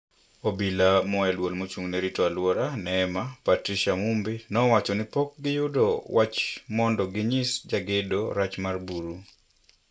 Obila mae duol maochung'ne rito aluora(NEMA) Patricia Mumbi nowacho nipok giyudo wach mondo ginyis jagedo rach mar buru.